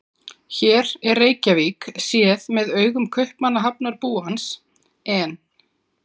Hér er Reykjavík séð með augum Kaupmannahafnarbúans, en